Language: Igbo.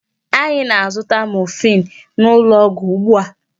Anyị na-azụta morphine n'ụlọ ọgwụ ugbu a.